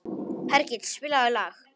Hergill, spilaðu lag.